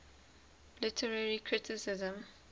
literary criticism